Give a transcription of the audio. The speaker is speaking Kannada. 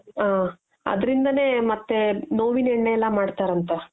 ಹ ಅದ್ರಿಂದನೆ ಮತ್ತೆ ನೋವಿನ ಎಣ್ಣೆ ಎಲ್ಲ ಮಾಡ್ತಾರೆ ಅಂತೆ